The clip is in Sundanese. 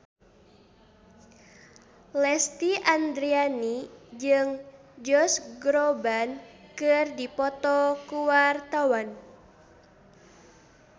Lesti Andryani jeung Josh Groban keur dipoto ku wartawan